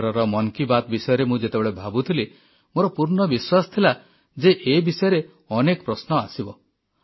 ଏଥରର ମନ୍ କି ବାତ୍ ବିଷୟରେ ମୁଁ ଯେତେବେଳେ ଭାବୁଥିଲି ମୋର ପୂର୍ଣ୍ଣ ବିଶ୍ୱାସ ଥିଲା ଯେ ଏ ବିଷୟରେ ଅନେକ ପ୍ରଶ୍ନ ଆସିବ